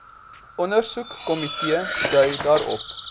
ondersoekkomitee dui daarop